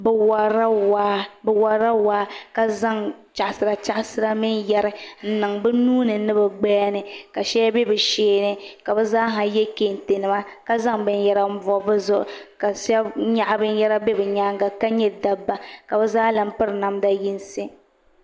Bi worila waa ka zaŋ chaɣasira chaɣasira mini yɛri n niŋ bi nuuni ni bi gbaya ni ka shɛli bɛ bi sheeni ka bi zaaha yɛ kɛntɛ nima ka zaŋ binyɛra n bob bi zuɣu ka shab nyaɣa binyɛra bɛ bi nyaanga ka nyɛ dabba ka bi zaa lahi piri namda yinsi